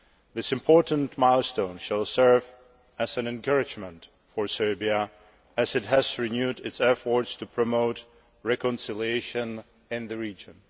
This important milestone will serve as an encouragement for Serbia, as it has renewed its efforts to promote reconciliation in the region.